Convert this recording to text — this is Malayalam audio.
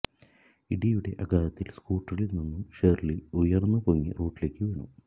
ഇടിയുടെ ആഘാതത്തില് സ്കൂട്ടറില് നിന്നും ഷേര്ലി ഉയര്ന്ന് പൊങ്ങി റോഡിലേക്ക് വീണു